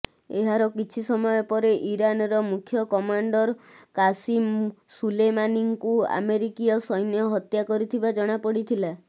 ଏହାର କିଛି ସମୟ ପରେ ଇରାନର ମୁଖ୍ୟ କମାଣ୍ଡର କାସିମ୍ ସୁଲେମାନିଙ୍କୁ ଆମେରିକୀୟ ସୈନ୍ୟ ହତ୍ୟା କରିଥିବା ଜଣାପଡ଼ିଥିଲା